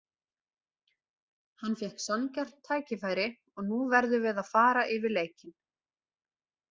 Hann fékk sanngjarnt tækifæri og nú verðum við að fara yfir leikinn.